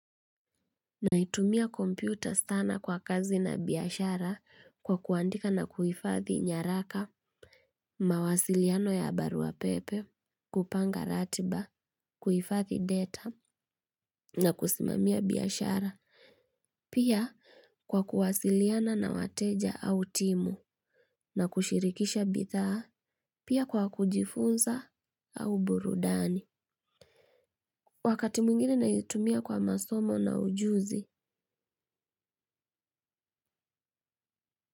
Naitumia kompyuta sana kwa kazi na biashara kwa kuandika na kuhifadhi nyaraka, mawasiliano ya barua pepe, kupanga ratiba, kuhifadhi data, na kusimamia biashara, pia kwa kuwasiliana na wateja au timu, na kushirikisha bidhaa, pia kwa kujifunza au burudani. Wakati mwingine naitumia kwa masomo na ujuzi.